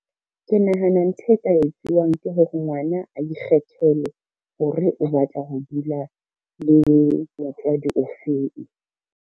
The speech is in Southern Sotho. Ke nahana ntho e ka etsuwang ke hore ngwana a ikgethele hore o batla ho dula le motswadi o feng.